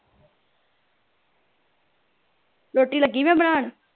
ਰੋਟੀ ਲੱਗੀ ਮੈਂ ਬਣਾਣ